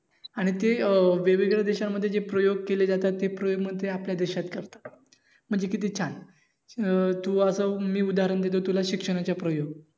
आणि ते अं वेगवेगळ्या देशामध्ये प्रयोग केले जातात तेप्रयोग मग ते आपल्या देशात करतात. म्हणजे किती छान अं तू असं मी उदाहरण देतो कि तुला शिक्षणाचं प्रयोग